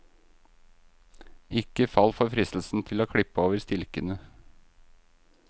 Ikke fall for fristelsen til å klippe over stilkene.